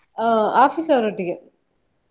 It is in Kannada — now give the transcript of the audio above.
ಅಹ್ office ಅವರೊಟ್ಟಿಗೆ